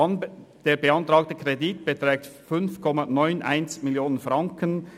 Der beantragte Kredit beträgt 5,91 Mio. Franken.